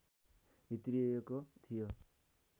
भित्रिएको थियो